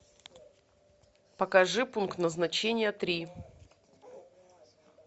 покажи пункт назначения три